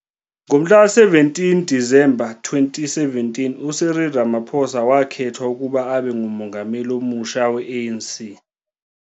Ngo-17 Disemba 2017, uCyril Ramaphosa wakhethwa ukuba abe nguMengameli omusha we-ANC.